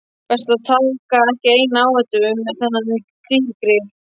Best að taka ekki neina áhættu með þennan dýrgrip.